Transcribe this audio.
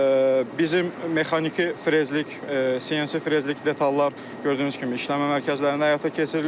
Bizim mexaniki frezlik, CNC frezlik detallar gördüyünüz kimi işləmə mərkəzlərində həyata keçirilir.